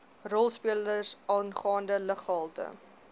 rolspelers aangaande luggehalte